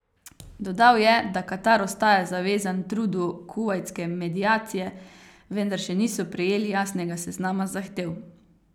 Dodal je, da Katar ostaja zavezan trudu kuvajtske mediacije, vendar še niso prejeli jasnega seznama zahtev.